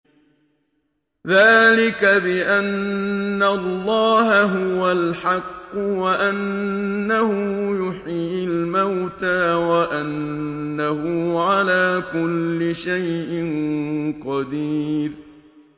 ذَٰلِكَ بِأَنَّ اللَّهَ هُوَ الْحَقُّ وَأَنَّهُ يُحْيِي الْمَوْتَىٰ وَأَنَّهُ عَلَىٰ كُلِّ شَيْءٍ قَدِيرٌ